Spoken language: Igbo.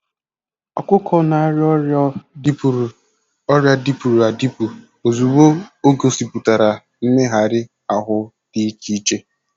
Ọkụkọ na-arịa ọrịa dịpụrụ ọrịa dịpụrụ adịpụ ozugbo o gosipụtara mmegharị ahụ dị iche iche.